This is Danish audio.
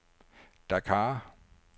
Dakar